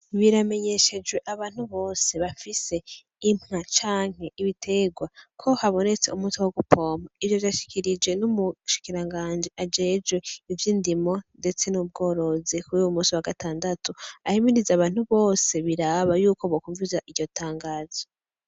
Biramenyeshejwe abantu bose bafise inka canke ibiterwa ko habonetse umuti wogupompa, vyashikirijwe n'umushikirangaji ajejwe ivy'idimo ndetse n'ubworozi kuruyu munsi wagatandatu ahimiriza abantu bose biraba yuko bokwumviriza iryo tangazo.